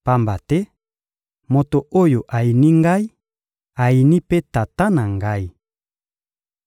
Pamba te moto oyo ayini Ngai ayini mpe Tata na Ngai.